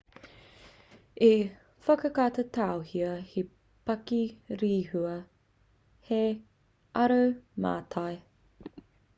i whakatauhia he pakirehua hei aromātai